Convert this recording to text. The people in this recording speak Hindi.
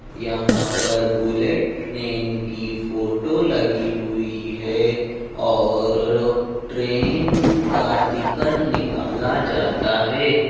यहाँं पर बुलेट ट्रेन की फोटो लगी हुई है और-र् ट्रेन का टिकट निकाला जाता है।